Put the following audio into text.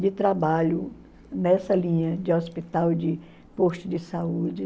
de trabalho nessa linha de hospital de posto de saúde.